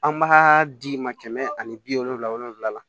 An b'a di ma kɛmɛ ani bi wolonfila wolonfila la